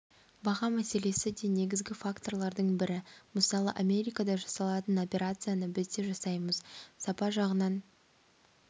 баға мәселесі де негізгі факторлардың бірі мысалы америкада жасалатын операцияны біз де жасаймыз сапа жағынан